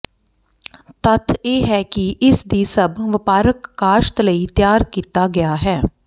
ਤੱਥ ਇਹ ਹੈ ਕਿ ਇਸ ਦੀ ਸਭ ਵਪਾਰਕ ਕਾਸ਼ਤ ਲਈ ਤਿਆਰ ਕੀਤਾ ਗਿਆ ਹੈ